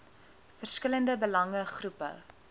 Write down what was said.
verskillende belange groepe